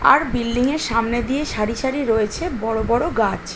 আর building -এর সামনে দিয়ে সারি সারি রয়েছে বড়ো বড়ো গাছ।